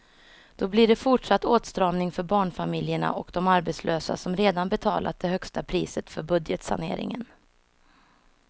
Då blir det fortsatt åtstramning för barnfamiljerna och de arbetslösa som redan betalat det högsta priset för budgetsaneringen.